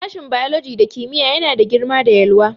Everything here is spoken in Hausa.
Sashin biology da kimiyya yana da girma da......